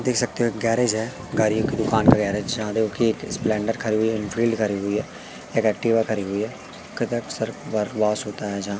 देख सकते हो एक गैरेज है गाड़ियों की दुकान का गैरेज जहां देखो कि एक स्प्लेंडर खड़ी हुई एनफील्ड खड़ी हुई है एक एक्टिवा खड़ी हुई है होता है जहां--